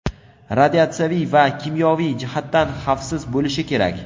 radiatsiyaviy va kimyoviy jihatdan xavfsiz bo‘lishi kerak.